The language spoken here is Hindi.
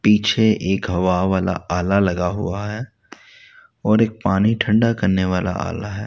पीछे एक हवा वाला आला लगा हुआ है और एक पानी ठंडा करने वाला आला है।